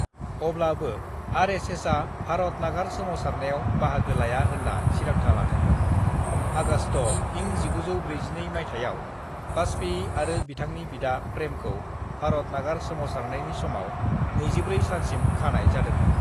"अब्लाबो आरएसएसआ भारत नागार सोमावसारनायाव बाहागो लाया होनना थिरांथा लादोंमोन, आगष्ट' इं 1942 माइथायाव वाजपेयी आरो बिथांनि बिदा प्रेमखौ भारत नागार सोमावसारनायनि समाव 24 सानसिम खानाय जादोंमोन।"